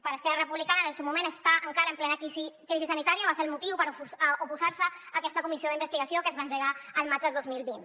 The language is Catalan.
per esquerra republicana en el seu moment estar encara en plena crisi sanitària va ser el motiu per oposar se a aquesta comissió d’investigació que es va engegar el maig del dos mil vint